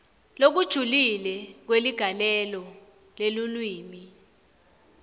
lokujulile kweligalelo lelulwimi